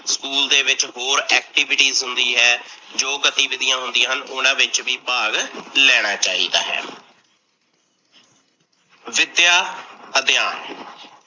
School ਦੇ ਵਿੱਚ ਹੋਰ activities ਹੁੰਦੀ ਹੈ, ਜੋ ਗਤੀਵੀਧੀਆ ਹੁੰਦੀਆ ਹਨ, ਉਨਾ ਵਿੱਚ ਵੀ ਭਾਗ ਲੈਣਾ ਚਾਹੀਦਾ ਹੈ। ਵਿਦਿਆ ਅਧਿਆਨ